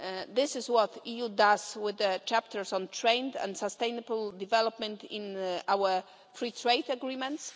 This is what the EU does with the chapters on trade and sustainable development in our free trade agreements.